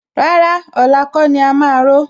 Rárá, ọ̀la kọ́ ni a máa ró